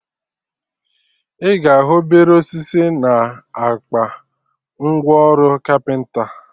Ị ga ahụ obere osisi na akpa ngwa ọrụ kapịnta